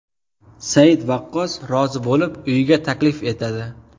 Said Vaqqos rozi bo‘lib, uyiga taklif etadi.